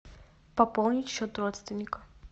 пополнить счет родственника